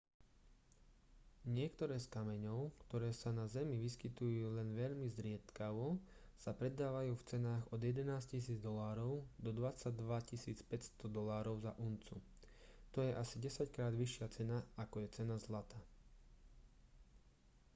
niektoré z kameňov ktoré sa na zemi vyskytujú len veľmi zriedkavo sa predávajú v cenách od 11 000 $ do 22 500 $ za uncu. to je asi desaťkrát vyššia cena ako je cena zlata